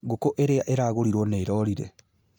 Ngũkũ iria ĩragũrirwo nĩ ĩrorire